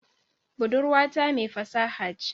Budurwata mai fasaha ce